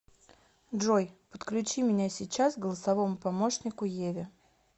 джой подключи меня сейчас к голосовому помощнику еве